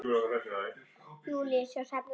Júlíus og Hrefna.